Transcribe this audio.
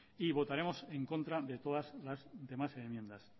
y votaremos en contra de todas las demás enmiendas